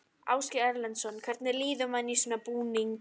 Ásgeir Erlendsson: Hvernig líður manni í svona búning?